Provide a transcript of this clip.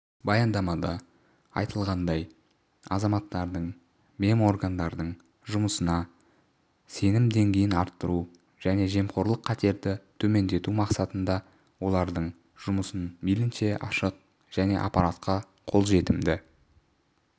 баяндамада айтылғандай азаматтардың меморгандардың жұмысына сенім деңгейін арттыру және жемқорлық қатерді төмендету мақсатында олардың жұмысын мейлінше ашық және ақпаратқа қол жетімді